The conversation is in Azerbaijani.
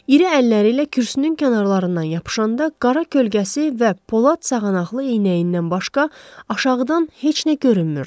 İri əlləri ilə kürsünün kənarlarından yapışanda qara kölgəsi və polad sazanaqlı eynəyindən başqa aşağıdan heç nə görünmürdü.